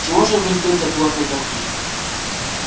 чего же вы ждёте от лорда дорвина